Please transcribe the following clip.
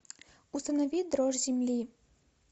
установи дрожь земли